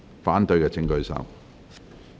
反對的請舉手。